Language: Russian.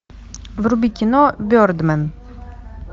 вруби кино бердмэн